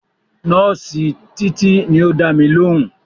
Nọ́ọ̀sì Títí ni ó dámi lóhùn